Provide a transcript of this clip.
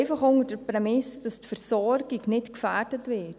Einfach unter der Prämisse, dass die Versorgung nicht gefährdet wird.